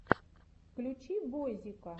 включи бойзика